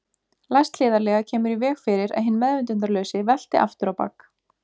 Læst hliðarlega kemur í veg fyrir að hinn meðvitundarlausi velti aftur á bak.